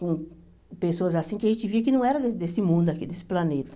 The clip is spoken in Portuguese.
com pessoas assim que a gente via que não era desse mundo aqui, desse planeta.